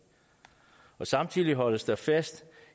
samtidig holdes der fast